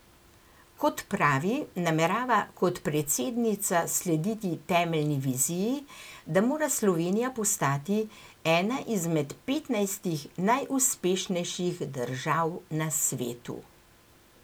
Kot pravi, namerava kot predsednica slediti temeljni viziji, da mora Slovenija postati ena izmed petnajstih najuspešnejših držav na svetu.